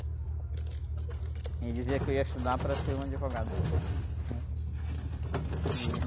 Eu dizia que eu ia estudar para ser um advogado, né? E...